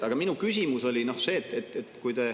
Aga minu küsimus oli see.